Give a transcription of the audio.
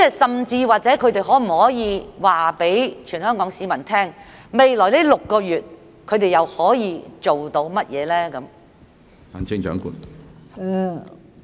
甚至他們可否告訴全港市民，未來6個月他們又可以做到甚麼？